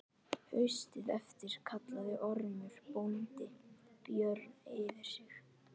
Haustið eftir kallaði Ormur bóndi Björn fyrir sig.